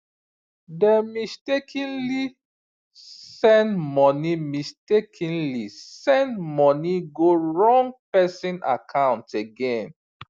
dem mistakenly send money mistakenly send money go wrong person account again